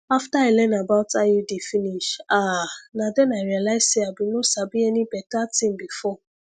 after i learn about iud finish ahh na then i realize say i bin no sabi any better thing before